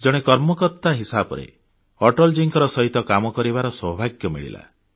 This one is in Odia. ଜଣେ କର୍ମକର୍ତ୍ତା ହିସାବରେ ଅଟଳଜୀଙ୍କ ସହିତ କାମ କରିବାର ସୌଭାଗ୍ୟ ମିଳିଥିଲା